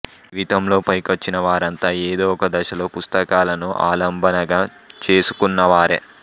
జీవితంలో పైకొచ్చినవారంతా ఏదో ఒక దశలో పుస్తకాలను ఆలంబనగా చేసుకున్నవారే